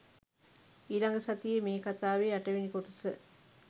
ඊළඟ සතියේ මේ කතාවේ අටවෙනි කොටස